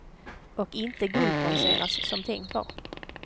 Och inte guldbronseras, som tänkt var.